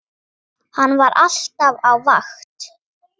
Hann var alltaf á vakt.